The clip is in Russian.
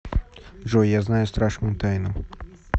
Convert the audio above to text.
джой я знаю страшную тайну